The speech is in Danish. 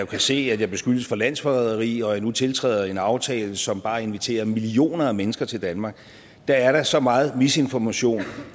kan se at jeg beskyldes for landsforræderi og at vi nu tiltræder en aftale som bare inviterer millioner af mennesker til danmark så er der så meget misinformation